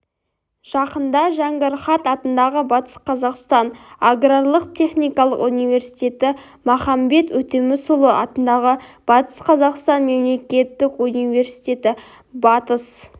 жақында жәңгір хат атындағы батыс қазақстан аграрлық-техникалық университеті махамбет өтемісұлы атындағы батыс қазақстан мемлекеттік университеті батыс